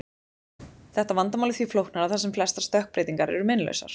Þetta vandamál er því flóknara þar sem flestar stökkbreytingar eru meinlausar.